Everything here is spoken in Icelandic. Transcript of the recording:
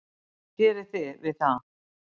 Hvað gerið þið við það?